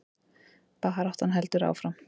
Baráttan heldur áfram